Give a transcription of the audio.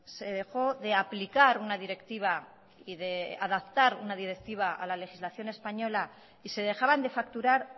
se dejó de aplicar una directiva y de adaptar una directiva a la legislación española y se dejaban de facturar